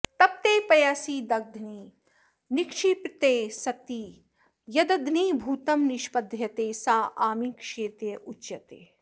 तप्ते पयसि दध्नि निक्षिप्ते सति यद्ध्नीभूतं निष्पद्यते सा आमिक्षेत्युच्यते